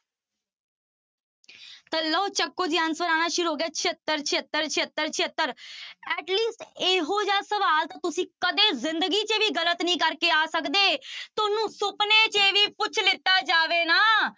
ਤਾਂ ਲਓ ਚੁੱਕੋ ਜੀ answer ਆਉਣਾ ਸ਼ੁਰੂ ਹੋ ਗਿਆ ਛਿਅੱਤਰ, ਛਿਅੱਤਰ, ਛਿਅੱਤਰ, ਛਿਅੱਤਰ at least ਇਹੋ ਜਿਹਾ ਸਵਾਲ ਤਾਂ ਤੁਸੀਂ ਕਦੇ ਜ਼ਿੰਦਗੀ ਚ ਵੀ ਗ਼ਲਤ ਨੀ ਕਰਕੇ ਆ ਸਕਦੇ ਤੁਹਾਨੂੰ ਸੁਪਨੇ ਚ ਵੀ ਪੁੱਛ ਲਿੱਤਾ ਜਾਵੇ ਨਾ